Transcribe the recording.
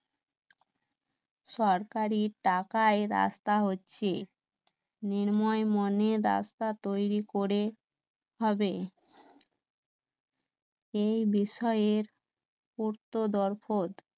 সরকারী টাকায় রাস্তা হচ্ছে নির্ময় মনের রাস্তা তৈরি করে ভাবে এই বিষয়ের পূর্ত দর্পদ